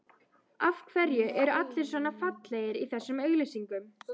Af hverju eru allir svona fallegir í þessum auglýsingum?